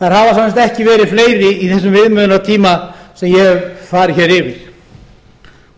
sagt ekki verið fleiri í þessum viðmiðunartíma sem ég hef farið hér yfir